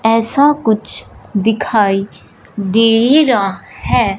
ऐसा कुछ दिखाई दे रहा है।